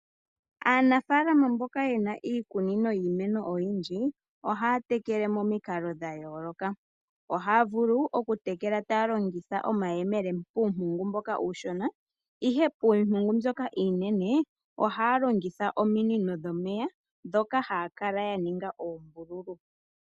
Aanafaalama mboka yena iikunino yiimeno oyindji , ohaya tekele momikalo dhayooloka. Ohaya vulu okutekela taya longitha omayemele puumpungu mboka uushona, ihe piimeno mbyoka iinene ohaya longitha ominino dhomeya ndhoka haya kala ya ninga oombululu.